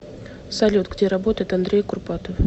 салют где работает андрей курпатов